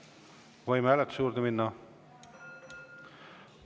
Võime hääletuse juurde minna?